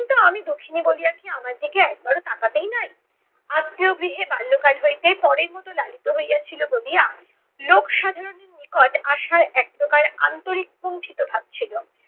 কিন্তু আমি দুঃখিনী বলিয়া কি আমার দিকে একবারও তাকাতেই নাই? আত্মীয় গৃহে বাল্যকাল হইতে পরের মতো লালিত হইয়াছিল বলিয়া লোক সাধারণের নিকট আশার একপ্রকার আন্তরিক কুন্ঠিত ভাব ছিলো।